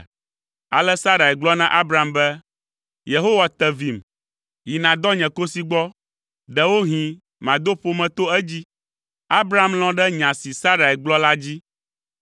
Ale Sarai gblɔ na Abram be, “Yehowa te vim. Yi nàdɔ nye kosi gbɔ, ɖewohĩ mado ƒome to edzi.” Abram lɔ̃ ɖe nya si Sarai gblɔ la dzi.